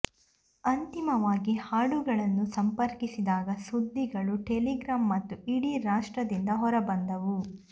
ಅಂತಿಮವಾಗಿ ಹಾಡುಗಳನ್ನು ಸಂಪರ್ಕಿಸಿದಾಗ ಸುದ್ದಿಗಳು ಟೆಲಿಗ್ರಾಫ್ ಮತ್ತು ಇಡೀ ರಾಷ್ಟ್ರದಿಂದ ಹೊರಬಂದವು